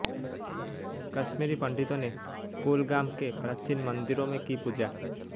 कश्मीरी पंडितों ने कुलगाम के प्राचीन मंदिरों में की पूजा